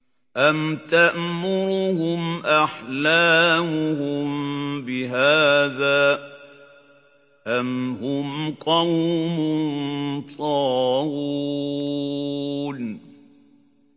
أَمْ تَأْمُرُهُمْ أَحْلَامُهُم بِهَٰذَا ۚ أَمْ هُمْ قَوْمٌ طَاغُونَ